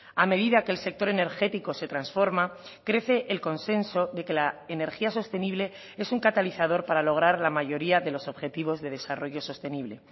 a medida que el sector energético se transforma crece el consenso de que la energía sostenible es un catalizador para lograr la mayoría de los objetivos de desarrollo sostenible